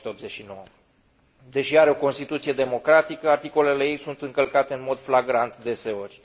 1989. Deși are o Constituție democratică, articolele ei sunt încălcate în mod flagrant deseori.